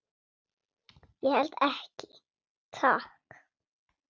Ég held ekki, takk.